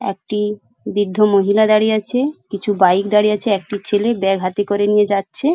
একটি বৃদ্ধ মহিলা দাঁড়িয়ে আছে। কিছু বাইক দাঁড়িয়ে আছে। একটি ছেলে ব্যাগ হাতে করে নিয়ে যাচ্ছে।